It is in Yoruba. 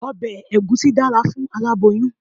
Ọbẹ̀ Ẹ̀gúsí dára fún aláboyún.